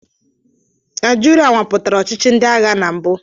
Naijiria nwapụtara ọchịchị ndị agha na mbụ.